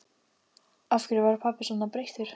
Af hverju var pabbi svona breyttur?